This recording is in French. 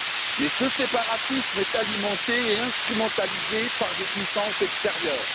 Mais ce séparatisme est alimenté et instrumentalisé par des puissances extérieures.